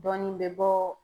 Dɔɔnin bɛ bɔ